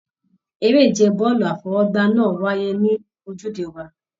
Eré ìje bọọlu afọwọ́gbá náà wáyé l'ojude Ọba.